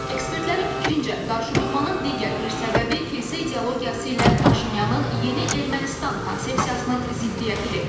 Ekspertlərin fikrincə, qarşıdurmanın digər bir səbəbi kilsə ideologiyası ilə Paşinyanın yeni Ermənistan konsepsiyasının ziddiyyətidir.